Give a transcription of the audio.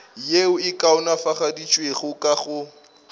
yeo e kaonafaditšwego ka go